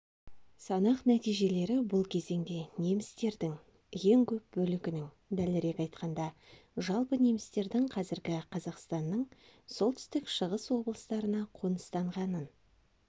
санақ нәтижелері бұл кезеңде немістердің ең көп бөлігінің дәлірек айтқанда жалпы немістердің қазіргі қазақстанның солтүстік шығыс облыстарына қоныстанғанын